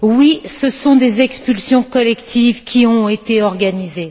Oui, ce sont des expulsions collectives qui ont été organisées.